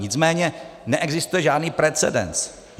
Nicméně neexistuje žádný precedens.